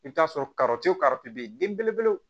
I bɛ t'a sɔrɔ bɛ yen den belebele